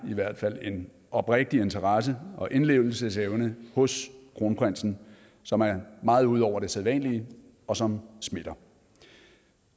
i hvert fald en oprigtig interesse og indlevelsesevne hos kronprinsen som er meget ud over det sædvanlige og som smitter